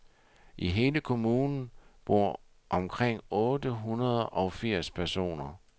I hele kommunen bor omkring ottehundrede og firs personer.